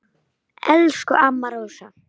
Elsku amma Rósa.